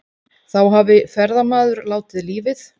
Þá hafi ferðamaður látið lífið